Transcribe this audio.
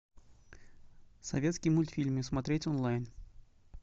советские мультфильмы смотреть онлайн